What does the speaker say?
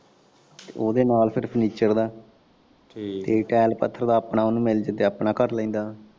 ਉਦੇ ਨਾਲ ਫੇਰ ਫਰਨੀਚਰ ਦਾ ਤੇ ਟੈਲ ਪੱਥਰ ਦਾ ਆਪਣਾ ਉਨੂੰ ਮਿਲਜੇ ਤੇ ਆਪਣਾ ਕਰ ਲੈਂਦਾ।